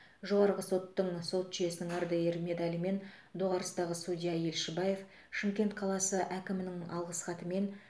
жоғарғы соттың сот жүйесінің ардагері медалімен доғарыстағы судья елшібаев шымкент қаласы әкімінің алғыс хатымен